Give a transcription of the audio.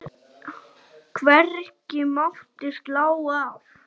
Hvergi mátti slá af.